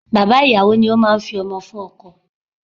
Bàbá ìyàwó ni ó máa ń fi ọmọ fún ọkọ.